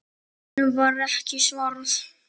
Honum var ekki svarað.